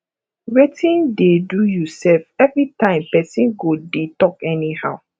wetin dey do you sef everytime person go dey talk anyhow